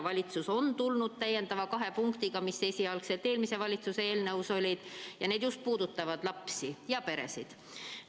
Valitsus on välja tulnud täiendava kahe punktiga, mis esialgselt eelmise valitsuse eelnõus olid, ja need puudutavad lapsi ja peresid.